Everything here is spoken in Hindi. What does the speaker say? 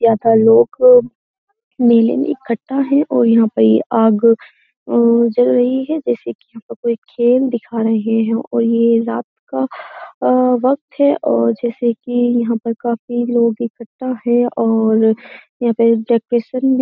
ज्यादा लोग मेले में इकट्ठा हैं और यहां पर ये आग उम्म जल रही है जैसे कि यहाँ पर कोई खेल दिखा रहे हैं और ये रात का अ वक्त है और जैसे कि यहाँ पर काफी लोग इकट्ठा हैं और यहां पे डेकोरेशन भी --